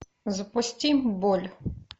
запусти боль